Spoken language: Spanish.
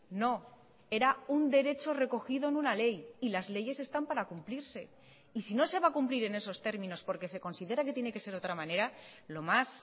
no era un derecho recogido en una ley y las leyes están para cumplirse y si no se va a cumplir en esos términos porque se considera que tiene que ser de otra manera lo más